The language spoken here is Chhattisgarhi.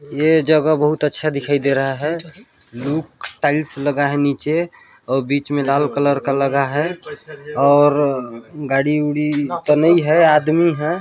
ये जगह बहुत अच्छा दिखाई दे रहा है लुक टाइल्स लगा है नीचे और बीच में लाल कलर का लगा है और गाड़ी उड़ी तो नहीं है आदमी है।